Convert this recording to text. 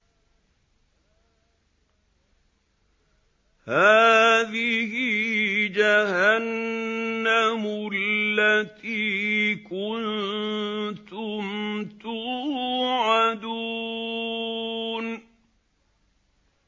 هَٰذِهِ جَهَنَّمُ الَّتِي كُنتُمْ تُوعَدُونَ